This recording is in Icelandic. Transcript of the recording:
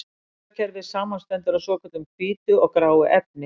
Taugakerfið samanstendur af svokölluðu hvítu og gráu efni.